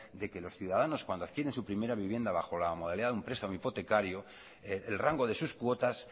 de que los ciudadanos cuando adquieren su primera vivienda bajo la modalidad de un prestamo hipotecario el rango de sus cuotas